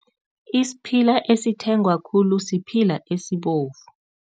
Isiphila esithengwa khulu siphila esibovu.